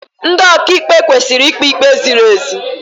Ndị ọkaịkpe kwesịrị ikpe ikpe ziri ezi.